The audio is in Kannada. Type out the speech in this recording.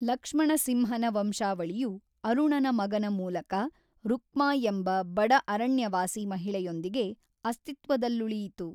ಲಕ್ಷ್ಮಣಸಿಂಹನ ವಂಶಾವಳಿಯು ಅರುಣನ ಮಗನ ಮೂಲಕ ರುಕ್ಮಾ ಎಂಬ ಬಡ ಅರಣ್ಯವಾಸಿ ಮಹಿಳೆಯೊಂದಿಗೆ ಅಸ್ತಿತ್ವದಲ್ಲುಳಿಯಿತು.